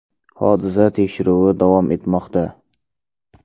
Hodisa tekshiruvi davom etmoqda.